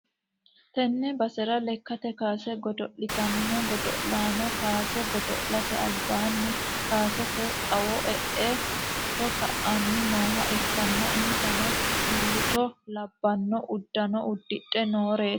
tee basera lekkate kaase godo'litanno godo'lano kaase godo'late albaanni kaasete xawo e'e footo ka'aani nooha ikkanna, insano mimmito labbanno uddano uddidhe nooreeti